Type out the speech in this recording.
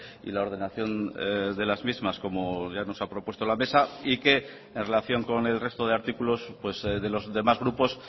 y la ordenación de las mismas como ya nos ha propuesto la mesa y que en relación con el resto de artículos de los demás grupos